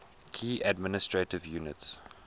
key administrative units